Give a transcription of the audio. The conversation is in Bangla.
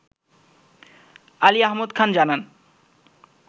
আলী আহমদ খান জানান